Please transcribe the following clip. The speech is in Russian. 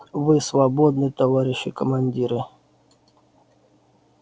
вы свободны товарищи командиры